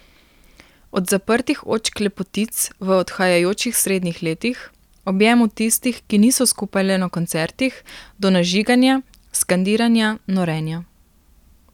Od zaprtih očk lepotic v odhajajočih srednjih letih, objemov tistih, ki niso skupaj le na koncertih, do nažiganja, skandiranja, norenja.